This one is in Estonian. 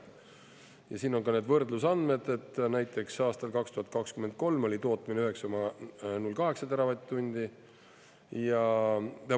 Ja siin on ka need võrdlusandmed, et näiteks aastal 2023 oli tootmine 9,08 teravatt-tundi ja …